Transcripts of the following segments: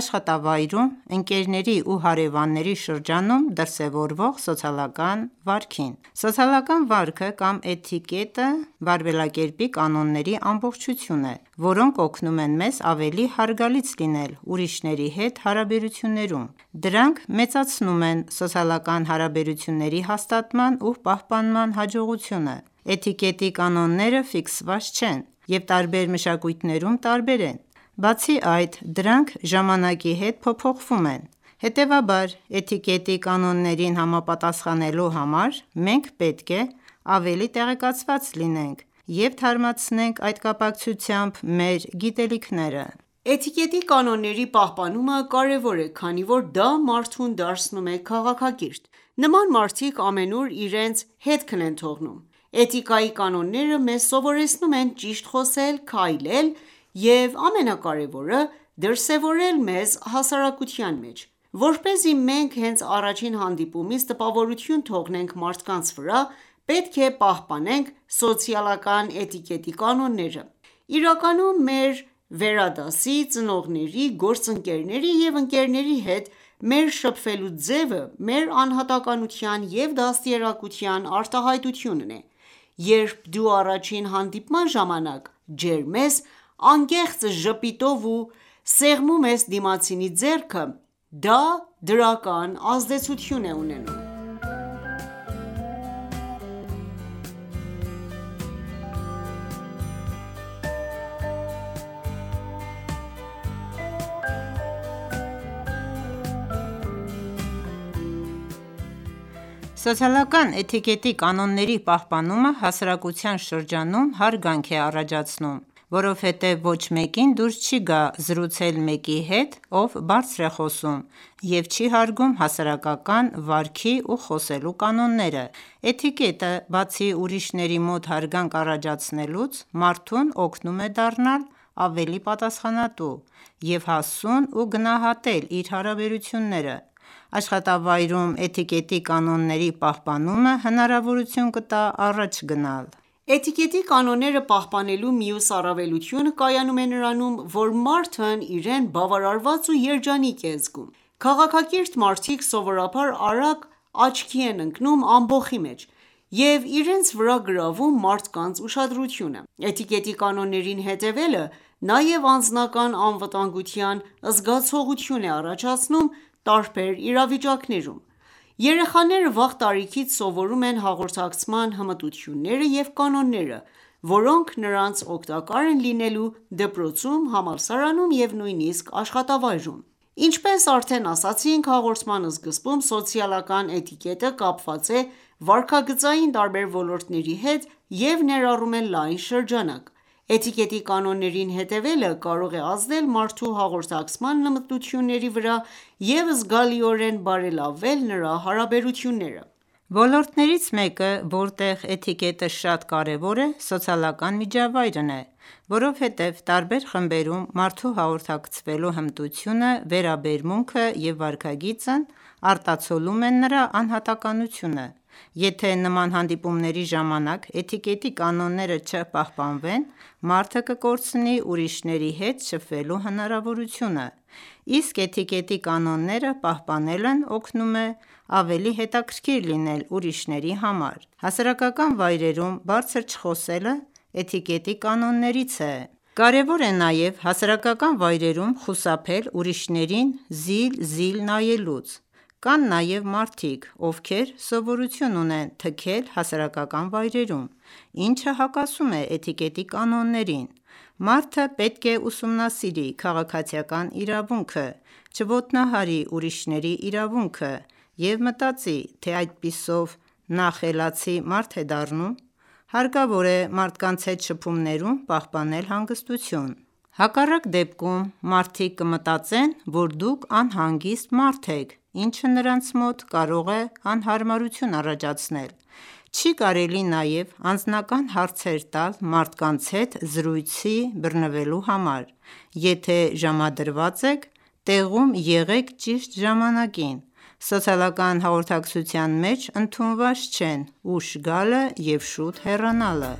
աշխատավայրում, ընկերների ու հարևանների շրջանում դրսևորվող սոցիալական վարքին: Սոցիալական վարքը կամ էթիկետը վարվելակերպի կանոնների ամբողջություն է, որոնք օգնում են մեզ ավելի հարգալից լինել ուրիշների հետ հարաբերություններում: Դրանք մեծացնում են սոցիալական հարաբերությունների հաստատման ու պահպանման հաջողությունը: Էթիկետի կանոնները ֆիքսված չեն և տարբեր մշակույթներում տարբեր են: Բացի այդ, դրանք ժամանակի հետ փոփոխվում են: Հետևաբար էթիկետի կանոններին համապատասխնելու համար մենք պետք է ավելի տեղեկացված լինենք և թարմացնենք այդ կապակցությամբ մեր գիտելիքները: Էթիկետի կանոնների պահպանումը կարևոր է, քանի որ դա մարդուն դարձնում է քաղաքակիրթ: Նման մարդիկ ամենուր իրենց հետքն են թողնում: Էթիկայի կաննոները մեզ սովորեցնում են ճիշտ խոսել, քայլել, և ամենակարևորը՝ դրսևորել մեզ հասարակության մեջ: Որպեսզի մենք հենց առաջին հանդիպումից տպավորություն թողնենք մարդկանց վրա, պետք է պահպանենք սոցիալական էթիկետի կանոնները: Իրականում մեր վերադասի, ծնողների, գործընկերների և ընկերների հետ մեր շփվելու ձևը մեր անհատականության և դաստիարակության արտահայտությունն է: Երբ դուք առաջին հանդիպման ժամանակ ջերմ եք, անկեղծ ժպիտով և սեղմում եք դիմացինի ձեռքը, դա դրական ազդեցություն է ունենում: Սոցիալական էթիկետի կանոնների պահպանումը հասարակության շրջանում հարգանք է առաջացնում: Որովհետև ոչ մեկին դուր չի գա զրուցել մեկի հետ, ով բարձր է խոսում, և չի հարգում հասարակական վարքի ու խոսելու կանոնները: Էթիկետը բացի ուրիշների մոտ հարգանք առաջացնելուց, մարդուն օգնում է դառնալ ավելի պատասխանատու և հասուն և գնահատել իր հարաբերությունները: Աշխատավայրում էթիկետի կանոնների պահպանումը հնարավորություն կտա առաջ գնալ: Էթիկետի կանոնները պահպանելու մյուս առավելությունը կայանում է նրանում, որ մարդն իրեն բավարարված ու երջանիկ է զգում: Քաղաքակիրթ մարդիկ սովորաբար արագ աչքի են ընկնում ամբոխի մեջ և իրենց վրա գրավում մարդկանց ուշադրությունը: Էթիկետի կանոններին հետևելը նաև անձնական անվտանգության զգացողություն է առաջացնում տարբեր իրավիճակներում: Երեխաները վաղ տարիքից սովորում են հաղորդակցման հմտությունները և կանոնները, որոնք նրանց օգտակար են լինելու դպրոցում, համալսարանում և նույնիսկ աշխատավայրում։ Ինչպես արդեն ասացինք հաղորդման սկզբում, սոցիալական էթիկետը կապված է վարքագծային տարբեր ոլորտների հետ և ներառում է լայն շրջանակ: Էթիկետի կանոններին հետևելը կարող է ազդել մարդու հաղորդակցման հմտությունների վրա և զգալիորեն բարելավել նրա հարաբերությունները: Ոլորտներից մեկը, որտեղ էթիկետը շատ կարևոր է, սոցիալական միջավայրն է, որովհետև տարբեր խմբերում մարդու հաղորդակցվելու հմտությունը, վերաբերմունքը և վարքագիծն արտացոլում են նրա անհատականությունը: Եթե նման հանդիպումների ժամանակ էթիկետի կանոնները չպահպանվեն, մարդը կկորցնի ուրիշների հետ շփվելու հնարավորությունը: Իսկ էթիկետի կանոնները պահպանելն օգնում է ավելի հետաքրիքր լինել ուրիշների համար: Հասարակական վայրերում բարձր չխոսելը էթիկետի կանոններից է: Կարևոր է նաև հասարակական վայրերում խուսափել ուրիշներին զիլ-զիլ նայելուց: Կան նաև մարդիկ, ովքեր սովորություն ունեն թքել հասարակական վայրերում, ինչը հակասում է էթիկետի կանոններին: Մարդը պետք է ուսումնասիրի քաղաքացիական իրավունքը, չոտնահարի ուրիշների իրավունքը և մտածի, թե այդպիսով նա խելացի մարդ է դառնում: Հարկավոր է մարդկանց հետ շփումներում պահպանել հանգստություն: Հակառակ դեպքում մարդիկ կմտածեն, որ դուք անհանգիստ մարդ եք ինչը նրանց մոտ կարող է անհարմարություն առաջացնել: Չի կարելի նաև անձնական հարցեր տալ մարդկանց հետ զրույցի բռնվելու համար: Եթե ժամադրված եք, տեղում եղեք ճիշտ ժամանակին: Սոցիալական հաղորդակցության մեջ ընդունված չեն ուշ գալը և շուտ հեռանալը: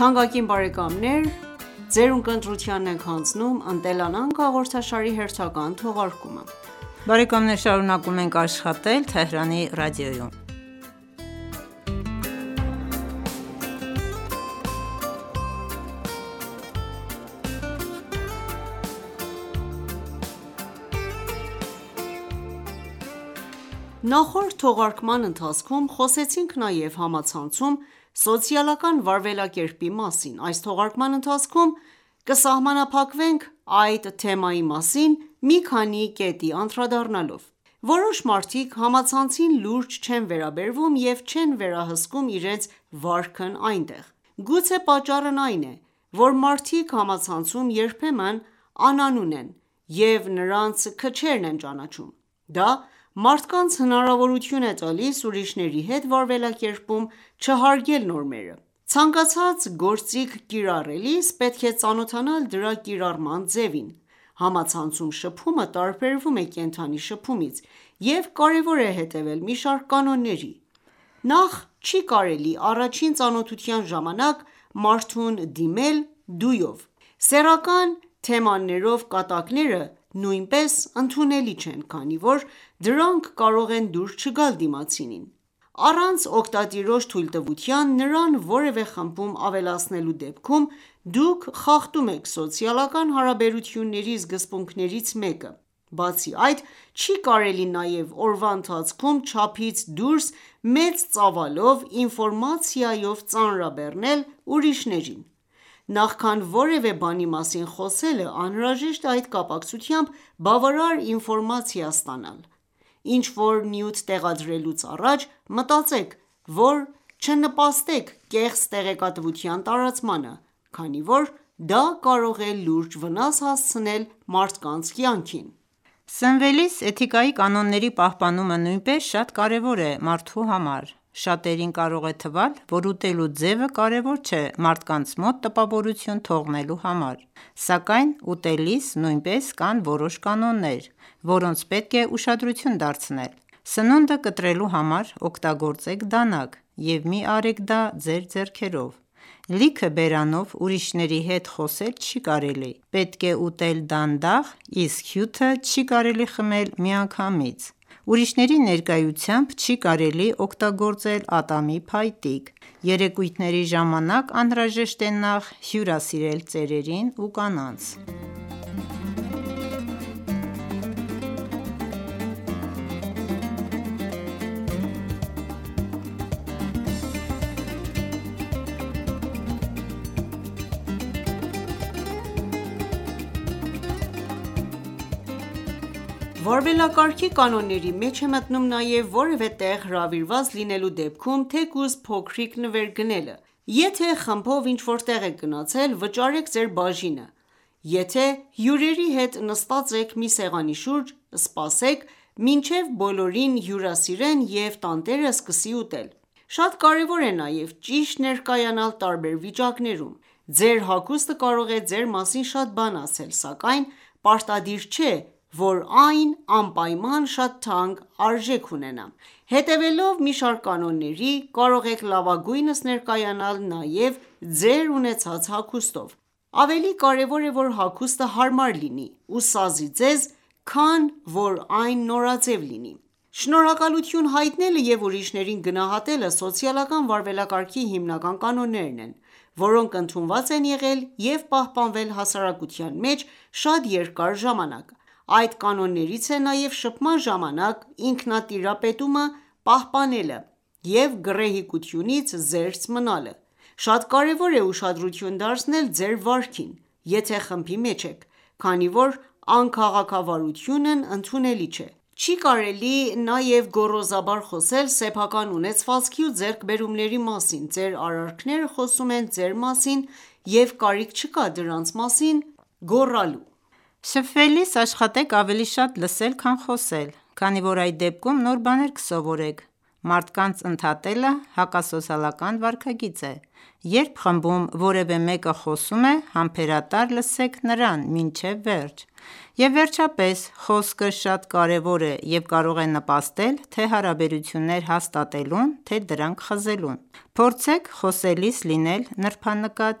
Նախորդ թողարկման ընթացքում խոսեցինք նաև համացանցում սոցիալական վարվելակերպի մասին: Այս թողարկման ընթացքում կսահմանափակվենք այդ թեմայի մասին մի քանի կետի անդրադառնալով: Որոշ մարդիկ համացանցին լուրջ չեն վերաբերվում և չեն վերահսկում իրենց վարքն այնտեղ: Գուցե պատճառն այն է, որ մարդիկ համացանցում երբեմն անանուն են և նրանց քչերն են ճանաչում: Դա մարդկանց հնարավորություն է տալիս ուրիշների հետ վարվելակերպում չհարգել նորմերը: Ցանկացած գործիք կիրառելիս պետք է ծանոթանալ դրա կիրառման ձևին: Համացանցում շփումը տարբերվում է կենդանի շփումից: Եվ կարևոր է հետևել մի շարք կանոնների: Նախ չի կարելի առաջին ծանոթության ժամանակ մարդուն դիմել «դու»-ով: Սեռական թեմաներով կատակները նույնպես ընդունելի չեն, քանի որ դրանք կարող են դուր չգալ դիմացինին: Առանց օգտատիրոջ թույլտվության նրան որևէ խմբում ավելացնելու դեպքում դուք խախտում եք սոցիալական հարաբերությունների սկզբունքներից մեկը: Բացի այդ չի կարելի նաև օրվա ընթացքում չափից դուրս մեծ ծավալով ինֆորմացիայով ծանրաբեռնել ուրիշներին: Նախքան որևէ բանի մասին խոսելը անհրաժետ է այդ կապակցությամբ բավարար ինֆորմացիա ստանալ: Ինչ-որ նյութ տեղադրելուց առաջ մտածեք որ չնպաստեք կեղծ տեղեկատվության տարածմանը, քանի որ դա կարող է լուրջ վնաս հասցնել մարդկանց կյանքին: Սնվելիս էթիկայի կանոնների պահպանումը նույնպես շատ կարևոր է մարդու համար: Շատերին կարող է թվալ, որ ուտելու ձևը կարևոր չէ մարդկանց մոտ տպավորություն թողնելու համար: Սակայն ուտելիս նույնպես կան որոշ կանոններ, որոնց պետք է ուշադրություն դարձնել: Սնունդը կտրելու համար օգտագործեք դանակ և մի արեք դա ձեր ձեռքերով։ Լիքը բերանով ուրիշների հետ խոսել չի կարելի: Պետք է ուտել դանդաղ, իսկ հյութը չի կարելի խմել միանգամից: Ուրիշների ներկայությամբ չի կարելի օգտագործել ատամի փայտիկ: Երեկույթների ժամանակ անհրաժեշտ է նախ հյուրասիրել ծերերին ու կանանց: Վարվելակարգի կանոնների մեջ է մտոնւմ նաև որևէ տեղ հրավիրված լինելու դեպքում թեկուզ փոքրիկ նվեր գնելը: Եթե խմբով ինչ որ տեղ եք գնացել, վճարեք ձեր բաժինը: Եթե հյուրերի հետ նստած եք մի սեղանի շուրջ, սպասեք մինչև բոլորին հյուրասիրեն և տանտերը սկսի ուտել: Շատ կարևոր է նաև ճիշտ ներկայանալ տարբեր իրավիճակներում: Ձեր հագուստը կարող է ձեր մասին շատ բան ասել: Սակայն պարտադիր չէ, որ այն անպայման շատ թանկ արժենա: Հետևելով մի շարք կանոնների, կարող եք լավագույնս ներկայանալ նաև ձեր ունեցած հագուստով: Ավելի կարևոր է, որ հագուստը հարմար լինի ու սազի ձեզ, քան որ այն նորաձև լինի: Շնորհակալություն հայտնելը և ուրիշներին գնահատելը սոցիալական վարվելակարգի հիմնական կանոններ են, որոնք ընդունված են եղել և պահպանվել հասարակության մեջ շատ երկար ժամանակ: Այդ կանոններից է նաև շփման ժամանակ ինքնատիրապետումը պահպանելը և գռեհկությունիզ զերծ մնալը: Շատ կարևոր է ուշադրություն դարձնել ձեր վարքին, եթե խմբի մեջ եք: Քանի որ անքաղաքավարությունն ընդունելի չէ: Չի կարելի նաև գոռոզաբար խոսել սեփական ունեցվածքի ու ձեռքբերումների մասին: Ձեր արարքները խոսում են ձեր մասին և կարիք չկա դրանց մասին գոռալու: Շփվելիս աշխատեք ավելի շատ լսել, քան խոսել: Քանի որ այդ դեպքում նոր բաներ կսովորեք: Մարդկանց ընդհատելը հակասոցիալական վարքագիծ է: Երբ խմբում որևէ մեկը խոսում է, համբերատար լսեք նրան մինչև վերջ: Եվ վերջապես խոսքը շատ կարևոր է և կարող է նպաստել թե հարաբերություններ հաստատելուն, թե դրանք խզելուն: Փորձեք խոսելիս լինել նրբանկատ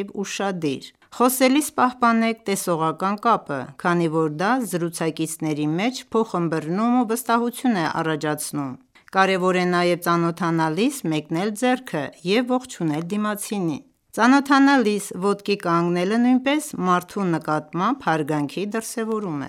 և ուշադիր: Խոսելիս պահպանեք տեսողական կապը, քանի որ դա զրուցակիցների մեջ փոխըմըռնում և վստահություն է առաջացնում: Կարևոր է նաև ծանոթանալիս մեկնել ձեռքը և ողջունել դիմացինին: Ծանոթանալիս ոտքի կանգնելը նույնպես մարդու նկատմամբ հարգանքի դրսևորում